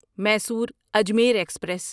Mysore Ajmer express